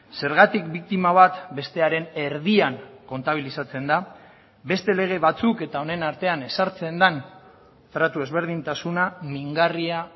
zergatik biktima bat bestearen erdian kontabilizatzen da beste lege batzuk eta honen artean ezartzen den tratu ezberdintasuna mingarria